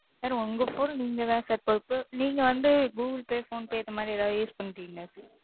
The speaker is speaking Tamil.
Sir உங்க Phone நீங்க தான் Sir பொறுப்பு. நீங்க வந்து Google pay phone pay இந்த மாதிரி ஏதாவது Use பண்றீங்களா? Sir?